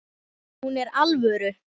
Hún er alvöru.